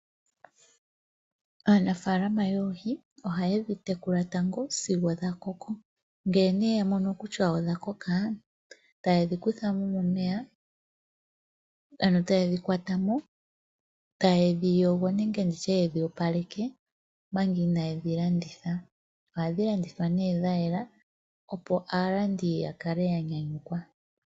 Aanafalama yoohi ohayedhi tekula tango sigo dhakoko. Nge nee yamono kusha odhakoka tayedhi kuthamo momeya, ano tayedhi kwatamo, tayedhi yogo nenge ndishe tayedhi opaleke omanga inayedhi landitha. Ohadhi landithwa ne dhayela opo aalandi yakale yanyanyukwa.